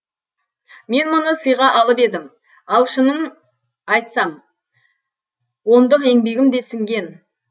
мен мұны сыйға алып едім ал шының айтсам ондық еңбегім де сіңген